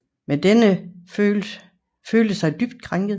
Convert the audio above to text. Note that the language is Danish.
Men denne følte sig dybt krænket